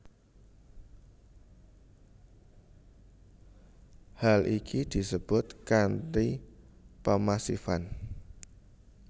Hal iki disebut kanti pemasifan